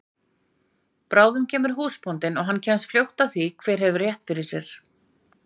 Bráðum kemur húsbóndinn og hann kemst fljótt að því hver hefur rétt fyrr sér!